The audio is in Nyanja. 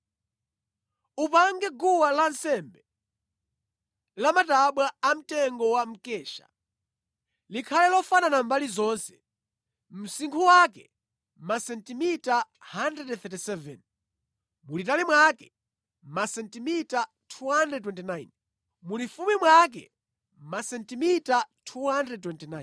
“Upange guwa lansembe lamatabwa amtengo wa mkesha. Likhale lofanana mbali zonse, msinkhu wake masentimita 137, mulitali mwake masentimita 229, mulifupi mwake masentimita 229.